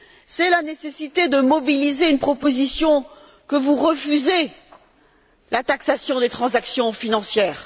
C'est la nécessité de mobiliser une proposition que vous refusez la taxation des transactions financières.